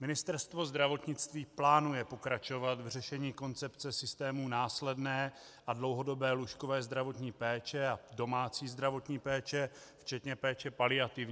Ministerstvo zdravotnictví plánuje pokračovat v řešení koncepce systému následné a dlouhodobé lůžkové zdravotní péče a domácí zdravotní péče, včetně péče paliativní.